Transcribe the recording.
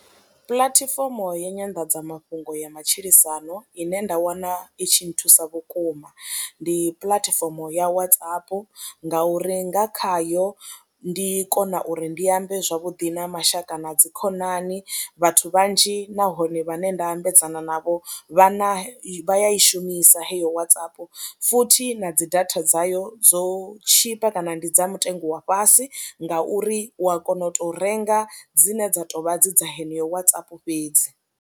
Puḽatifomo ya nyanḓadzamafhungo ya matshilisano ine nda wana i tshi nthusa vhukuma ndi puḽatifomo ya Whatsapp ngauri nga khayo ndi kona uri ndi ambe zwavhuḓi na mashaka na dzikhonani, vhathu vhanzhi nahone vhane nda ambedzana navho vha na vha ya i shumisa heyo Whatsapp futhi na dzi data dzayo dzo tshipa kana ndi dza mutengo wa fhasi ngauri u a kona u tou renga dzine dza tou vha dzi dza heneyo Whatsapp fhedzi.